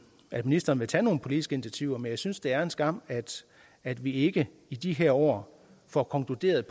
at ministeren vil tage nogle politiske initiativer men jeg synes det er en skam at vi ikke i de her år får konkluderet